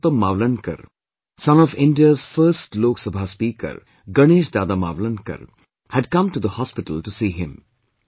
Purushottam Mavlankar, son of India's first Lok Sabha Speaker Ganesh Dada Mavlankar, had come to the hospital to see him